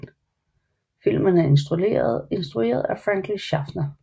Filmen er instrueret af Franklin Schaffner